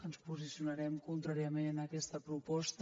ens posicionarem contràriament a aquesta proposta